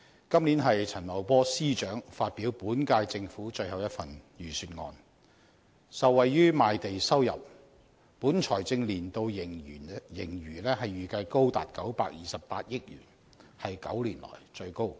今年陳茂波司長發表本屆政府最後一份財政預算案，受惠於賣地收入，本財政年度盈餘預計高達928億元，是9年來最高。